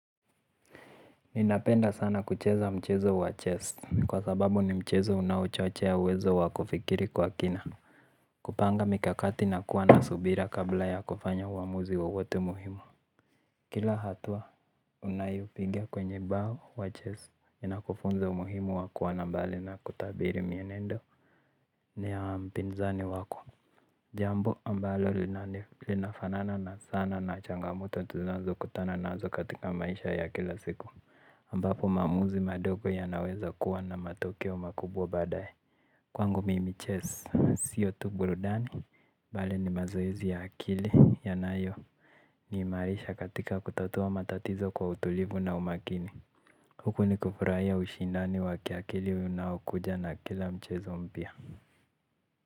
Ninapenda sana kucheza mchezo wa chest kwa sababu ni mchezo unawochochea uwezo wakufikiri kwa kina. Kupanga mikakati na kuwa nasubira kabla ya kufanya uamuzi wo wote muhimu. Kila hatua unayopiga kwenye bao wa chess inakufunzo umuhimu wakuwa nambali na kutabiri mienendo ni ya mpinzani wako. Jambo ambalo linafanana na sana na changamoto tunazo kutana nazo katika maisha ya kila siku ambapo mamuzi madogo ya naweza kuwa na matokeo makubwa badaye. Kwangu mimi chess, siyo tu burudani, bale ni mazoezi ya akili yanayo ni marisha katika kutatua matatizo kwa utulivu na umakini. Huku ni kufurahia ushindani waki akili unaokuja na kila mchezo mpia.